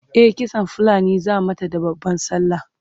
e kitsan fulani zaa mata da babban sallah